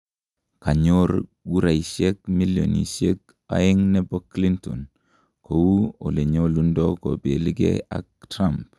kanyor guraisiek milionisiek aeng nepo Clinton kou olenyalundo kopeli gee ak Trump